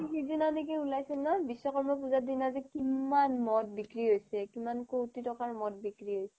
সিদিনা নেকি উলাইছিল ন' বিশ্বকৰ্মা পূজাৰ দিনা যে কিমান মদ বিক্ৰী হৈছে কিমান কোটি টকাৰ মদ বিক্ৰী হৈছে